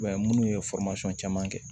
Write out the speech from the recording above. I b'a ye minnu ye caman kɛ